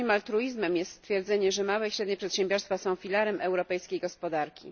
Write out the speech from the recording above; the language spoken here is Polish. Już niemal truizmem jest stwierdzenie, że małe i średnie przedsiębiorstwa są filarem europejskiej gospodarki.